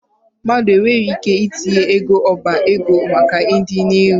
Mmadụ nwere ike itinye ego n'ọba ego maka ọdịnihu.